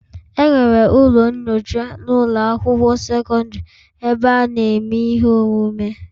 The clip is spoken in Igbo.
Enwere ụlọ nyocha na ụlọ akwụkwọ sekọndrị ebe a na-eme ihe omume